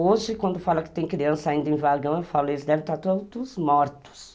Hoje, quando falam que tem criança ainda em vagão, eu falo, eles devem estar todos mortos.